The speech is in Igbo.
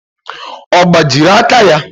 Ọ gbajiri aka ya?